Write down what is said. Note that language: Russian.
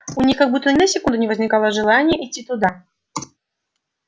у них как будто ни на секунду не возникало желания идти туда